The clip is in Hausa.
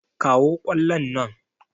Kawo ƙwallon nan!